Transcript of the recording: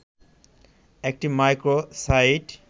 একটি micro site